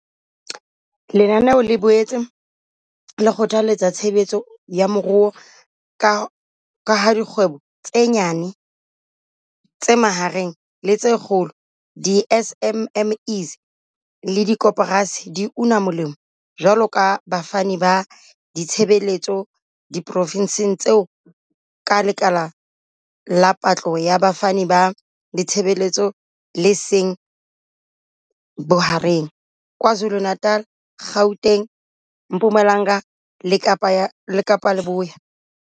Lenanelo le boetse le kgothaletsa tshebetso ya moruo ka ha dikgwebo tse nyane, tse mahareng le tse kgolo, di-SMME. le dikoporasi di una molemo jwaloka bafani ba ditshebeletso diprofenseng tseo ka lekala la patlo ya bafani ba ditshebeletso le seng bohareng, KwaZulu-Natal, Gauteng, Mpumalanga le Kapa Leboya.